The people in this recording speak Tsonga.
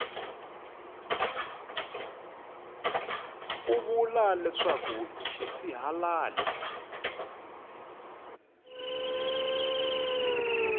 u vula leswaku i xisihalali